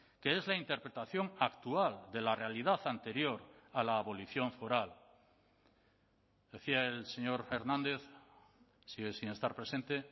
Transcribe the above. que es la interpretación actual de la realidad anterior a la abolición foral decía el señor hernández sigue sin estar presente